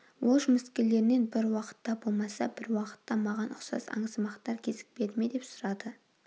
ол жұмыскерлерінен бір уақытта болмаса бір уақытта маған ұқсас аңсымақтар кезікпеді ме деп сұрады